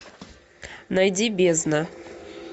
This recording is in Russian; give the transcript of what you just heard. найди бездна